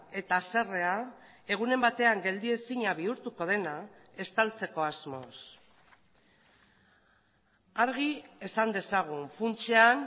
eta haserrea egunen batean geldiezina bihurtuko dena estaltzeko asmoz argi esan dezagun funtsean